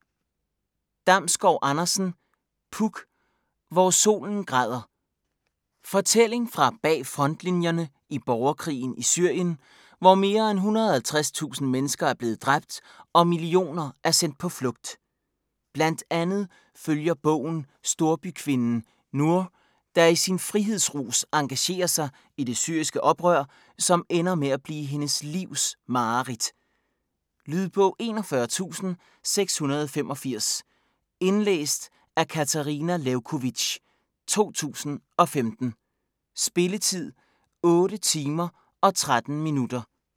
Damsgård Andersen, Puk: Hvor solen græder Fortælling fra bagfrontlinjerne i borgerkrigen i Syrien, hvor mere end 150.000 mennesker er blevet dræbt, og millioner er sendt på flugt. Blandt andet følger bogen storbykvinden Nour, der i en frihedsrus engagerer sig i det syriske oprør, som ender med at blive hendes livs mareridt. Lydbog 41685 Indlæst af Katarina Lewkovitch, 2015. Spilletid: 8 timer, 13 minutter.